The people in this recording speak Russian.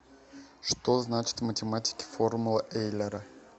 что значит в математике формула эйлера